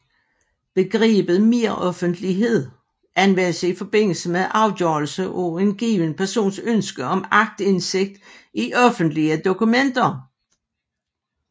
Begrebet meroffentlighed anvendes i forbindelse med afgørelse af en given persons ønske om aktindsigt i offentlige dokumenter